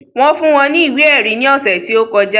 Wọ́n fún wọn ní ìwé ẹ̀rí ní ọ̀sẹ̀ tí ó kọjá